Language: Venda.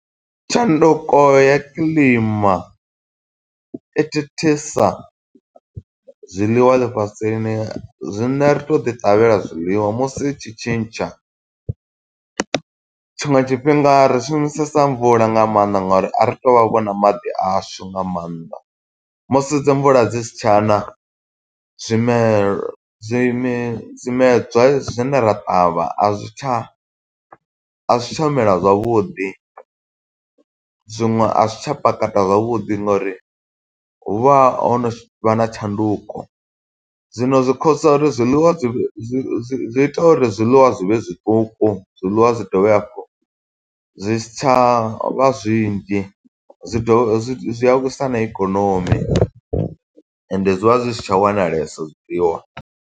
Tshanduko ya kiḽima i thithisa zwiḽiwa ḽifhasini. Zwine ri tou ḓi ṱavhela zwiḽiwa musi i tshi tshintsha. Tshiṅwe tshifhinga ri shumisesa mvula nga maanḓa nga uri a ri to vha vho na maḓi ashu nga maanḓa. Musi dzi mvula dzi si tshaṋa, zwimelw zwime zwimedzwa zwine ra ṱavha a zwi tsha, a zwi tsha mela zwavhuḓi. Zwiṅwe a zwi tsha pakata zwavhuḓi ngo uri hu vha ho no vha na tshanduko. Zwino zwi khosa uri zwiḽiwa zwi zwi zwi ita uri zwiḽiwa zwi vhe zwiṱuku. Zwiḽiwa zwi dovhe hafhu zwi si tsha vha zwinzhi, zwi dovhe zwi zwi a wisa na ikonomi ende zwi vha zwi si tsha wanalesa zwiḽiwa.